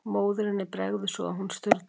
Móðurinni bregður svo að hún sturlast.